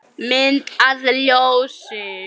Mynd að ljósi?